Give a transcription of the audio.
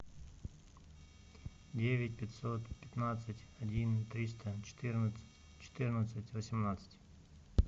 девять пятьсот пятнадцать один триста четырнадцать четырнадцать восемнадцать